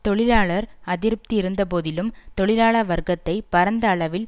தொழிலாளர் அதிருப்தி இருந்த போதிலும் தொழிலாள வர்க்கத்தை பரந்த அளவில்